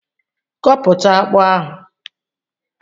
Koputa akpu ahu